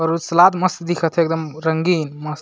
और सलाद मस्त दिखत है एकदम रंगीन मस्त --